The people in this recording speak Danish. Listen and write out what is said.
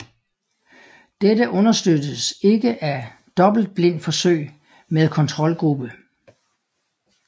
Dette understøttes ikke af dobbeltblindforsøg med kontrolgruppe